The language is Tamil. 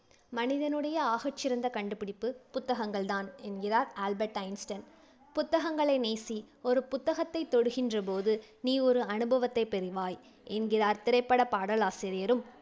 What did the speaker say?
மனிதனுடைய ஆகச் சிறந்த கண்டுபிடிப்பு புத்தகங்கள் தான் என்கின்றார் ஆல்பர்ட் ஐன்ஸ்டீன் புத்தகங்களை நேசி ஒரு புத்தகத்தைத் தொடுகின்ற போது நீ ஒரு அனுபவத்தை பெறுவாய் என்கின்றார் திரைப்படப் பாடலாசிரியரும்